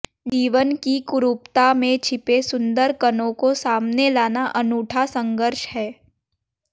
जीवन की कुरूपता में छिपे सुंदर कणों को सामने लाना अनूठा संघर्ष है